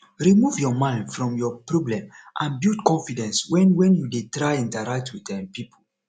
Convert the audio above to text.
remove your mind from your problem and build confidence when when you dey try interact with um pipo